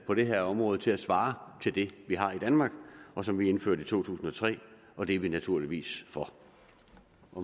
på det her område til at svare til det vi har i danmark og som vi indførte i to tusind og tre og det er vi naturligvis for